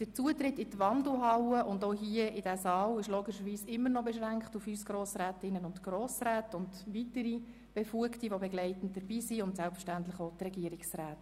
Der Zutritt in die Wandelhalle und auch hier in den Saal ist logischerweise immer noch beschränkt auf uns Grossrätinnen und Grossräte sowie weitere befugte Personen und selbstverständlich auch die Regierungsräte.